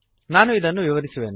ನಾನು ಇದನ್ನು ವಿವರಿಸುವೆನು